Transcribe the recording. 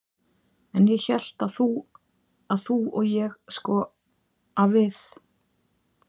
En ég hélt að þú. að þú og ég sko. að við